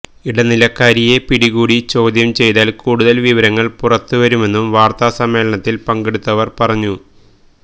ഇടനിലക്കാരിയെ പിടികൂടി ചോദ്യം ചെയ്താല് കൂടുതല് വിവരങ്ങള് പുറത്തുവരുമെന്നും വാര്ത്താസമ്മേളനത്തില് പങ്കെടുത്തവര് പറഞ്ഞു